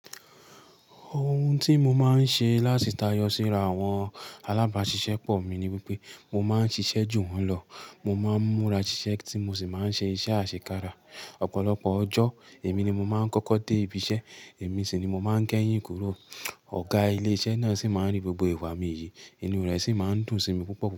Ohun tí mo máa ń ṣe láti tayọ síra àwọn alábàáṣiṣẹ́ pọ̀ mi ni wípé mo máa ń ṣiṣẹ́ jù wọ́n lọ. Mo máa ń múra ṣiṣẹ́ tí mo sì máa ń ṣe iṣẹ́ àṣekára. Ọ̀pọ̀lọpọ̀ ọjọ́, èmi ni mo máa ń kọ́kọ́ dé ibiṣẹ́, èmi sì ni mo máa ń kẹ́yìn kúrò. Ọ̀gá ilé iṣẹ́ náà sì máa ń rí gbogbo ìwà mi yìí, inu rẹ̀ sì máa ń dùn sí mi púpọ̀.